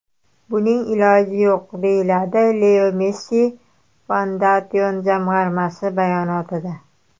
Buning iloji yo‘q”, deyiladi Leo Messi Foundation jamg‘armasi bayonotida.